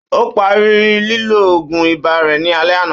Ó parí lílọ òògùn ibà rẹ ni alẹ́ àná